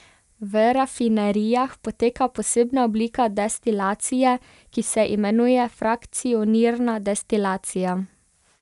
V rafinerijah poteka posebna oblika destilacije, ki se imenuje frakcionirna destilacija.